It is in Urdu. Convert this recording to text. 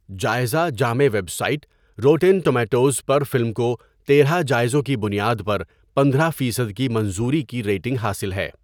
جائزہ جامع ویب سائٹ روٹن ٹمیٹوز پر فلم کو ۱۳ جائزوں کی بنیاد پر ۱۵ فیصد کی منظوری کی ریٹنگ حاصل ہے۔